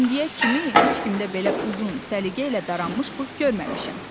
İndiyə kimi heç kimdə belə uzun, səliqə ilə daranmış bığ görməmişəm.